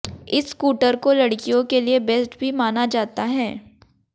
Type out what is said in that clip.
इस स्कूटर को लड़कियों के लिए बेस्ट भी माना जाता है